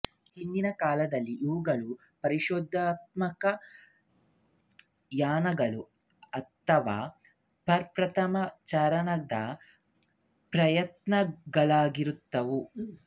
ಹಿಂದಿನ ಕಾಲದಲ್ಲಿ ಇವುಗಳು ಪರಿಶೋಧನಾತ್ಮಕ ಯಾನಗಳು ಅಥವಾ ಪ್ರಪ್ರಥಮ ಚಾರಣದ ಪ್ರಯತ್ನಗಳಾಗಿರುತ್ತಿದ್ದವು